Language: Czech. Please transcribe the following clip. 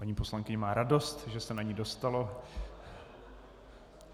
Paní poslankyně má radost, že se na ni dostalo.